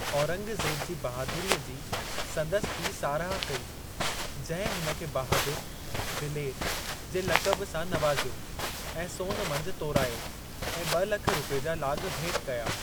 औरंगज़ेब जी बहादुरीअ जी संदसि पीउ साराह कई जंहिं हुन खे बहादुर (दिलेरु) जे लक़बु सां नवाज़ियो ऐं सोन मंझि तोरायो ऐं ब॒ लख रुपये जा लाॻ भेट कया।